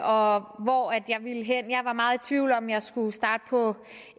og hvor jeg ville hen jeg var meget i tvivl om om jeg skulle starte på